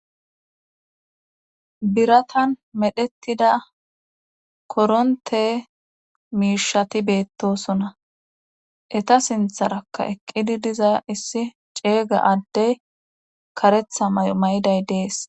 Biratan medhettida koronte miishati beettosona eta sintharakka eqqidi diza issi ceega addey karetha may'o may'iday dees.